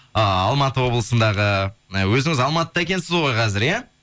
ыыы алматы облысындағы ы өзіңіз алматыда екенсіз ғой қазір иә